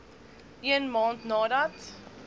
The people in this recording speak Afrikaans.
een maand nadat